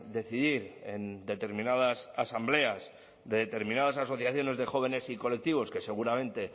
decidir en determinadas asambleas de determinadas asociaciones de jóvenes y colectivos que seguramente